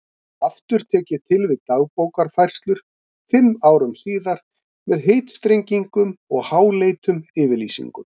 Aftur tek ég til við Dagbókarfærslur fimm árum síðar með heitstrengingum og háleitum yfirlýsingum.